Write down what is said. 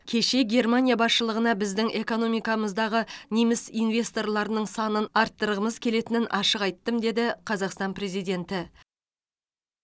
кеше германия басшылығына біздің экономикамыздағы неміс инвесторларының санын арттырғымыз келетінін ашық айттым қазақстан президенті